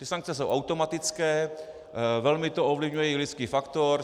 Ty sankce jsou automatické, velmi to ovlivňuje i lidský faktor.